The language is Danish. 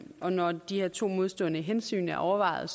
og når de her to modstående hensyn er afvejet